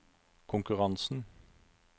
konkurransen